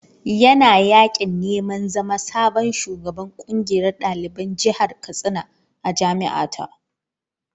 Yana yaƙin neman zama sabon shugaban ƙungiyar ɗaliban jihar Katsina a jami’a ta.